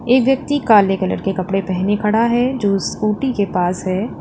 ये व्यक्ति काले कलर के कपड़े पहने खड़ा है जो स्कूटी के पास है।